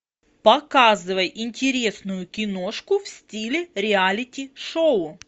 показывай интересную киношку в стиле реалити шоу